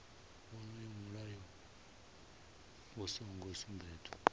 wonoyo mulayo u songo sumbedzwa